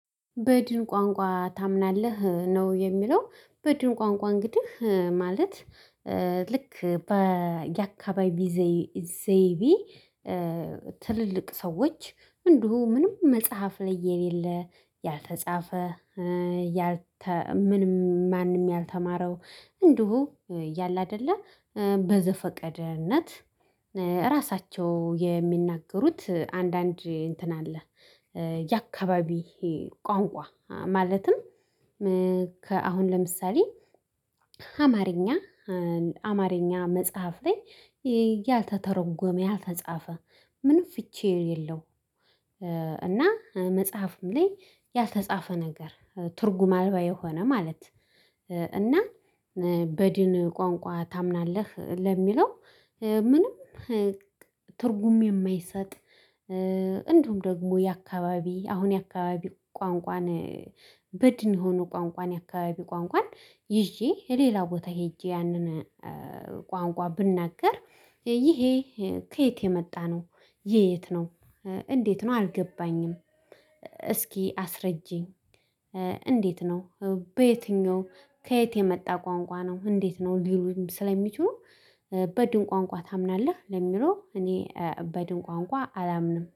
በድን ቋንቋ ታምናለህ ነው? የሚለው በድን ቋንቋ እንግዲህ ማለት። ልክ በየአካባቢ ዘይቢ። ትልልቅ ሰዎች እንዲሁ ምንም መጽሐፍ ላይ የሌለ ያልተጻፈ ያልተ ምንም ማንም ያልተማረው እንዲሁ ያለ አይደለ በዘፈቀድነት። ራሳቸው የሚናገሩት አንዳንድ እንትን አለ። የአካባቢ ቋንቋ ማለትም ከአሁን ለምሳሌ አማርኛ አማርኛ መጽሐፍ ላይ ያልተተረጎመ ያልተጻፈ ምንም ፍቺ የሌለው። እና መጽሐፍም ላይ ያልተጻፈ ነገር ትርጉም አልባ የሆነ ማለት። እና በድን ቋንቋ ታምናለህ ለሚለው ምንም ትርጉም የማይሰጥ። እንዲሁም ደግሞ የአካባቢ አሁን የአካባቢ ቋንቋን በድን የሆኑ ቋንቋን የአካባቢ ቋንቋን ይዤ ሌላ ቦታ ሄጄ ያንን ቋንቋ ብናገር ይሄ ከየት የመጣ ነው ይሄ የት ነው እንዴት ነው አልገባኝም? እስኪ አስረጂኝ? እንዴት ነው? በየትኛው ከየት የመጣ ቋንቋ ነው? እንዴት ነው? ሊሉኝ ስለሚችሉ በድን ቋንቋ ታምናለህ ለሚለው እኔ በድን ቋንቋ አላምንም።